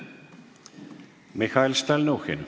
Mihhail Stalnuhhin.